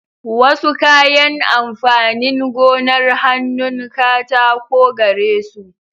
Wasu kayan amfanin gonar hannun katako garesu.